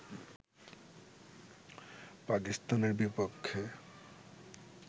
পাকিস্তানের বিপক্ষে